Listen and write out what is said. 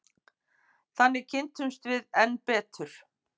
Þannig kynntumst við enn betur.